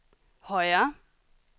højre